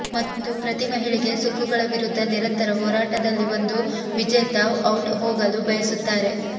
ಮತ್ತು ಪ್ರತಿ ಮಹಿಳೆಗೆ ಸುಕ್ಕುಗಳು ವಿರುದ್ಧ ನಿರಂತರ ಹೋರಾಟದಲ್ಲಿ ಒಂದು ವಿಜೇತ ಔಟ್ ಹೋಗಲು ಬಯಸುತ್ತಾರೆ